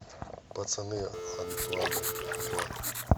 пацаны антуана фукуа